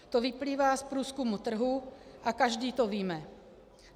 To vyplývá z průzkumu trhu a každý to víme.